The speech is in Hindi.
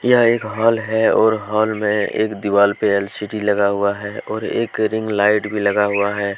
यह एक हॉल है और हॉल में एक दीवाल पे एल_सी_डी लगा हुआ है और एक रिंग लाइट भी लगा हुआ है।